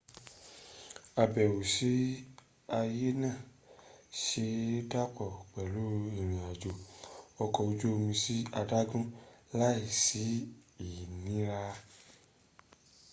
àbẹ̀wò sí ààyè náà se é dàpọ̀ pẹ̀lú ìrìn-àjò ọkọ̀ ojú omi sí adágún láì sí ìnira